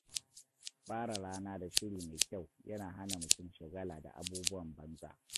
Fara rana da shiri mai kyau yana hana mutum shagala da abubuwan banza.